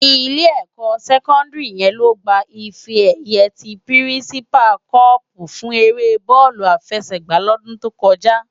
Ilé ékò sèkòndári yèn ló gbá ifè èyë ti pirinsipá còpú fún éré bòlú àfèsègbá lòdún tókòjá